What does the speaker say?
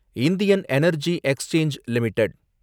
Indian Energy Exchange limited